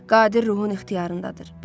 Qadir ruhun ixtiyarındadır.